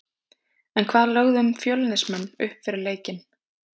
En hvað lögðum Fjölnismenn upp með fyrir leikinn?